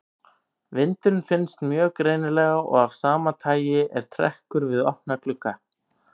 Vindurinn finnst mjög greinilega og af sama tagi er trekkur við opna glugga.